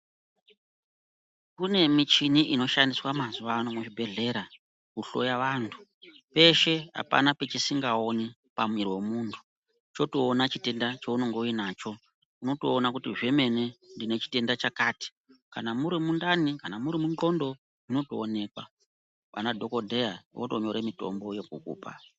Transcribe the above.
Kune michini inoshandiswa mazuva ano muzvibhedhlera kuhloya vantu peshe hapana pesichingaoni pamuwiri womuntu chotoona chitenda chaunenge uinacho unotoona kuti zvemene ndine chitenda chakati kana muri mundani kana muri mundxondo zvinotoonekwa vana dhokodheya votonyore mitombo yekukupa.